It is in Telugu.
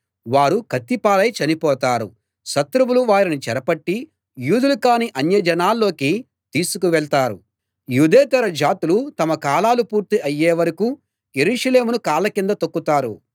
వారు కత్తిపాలై చనిపోతారు శత్రువులు వారిని చెరపట్టి యూదులు కాని అన్యజనాల్లోకి తీసుకువెళ్తారు యూదేతర జాతులు తమ కాలాలు పూర్తి అయ్యేవరకూ యెరూషలేమును కాళ్ళ కింద తొక్కుతారు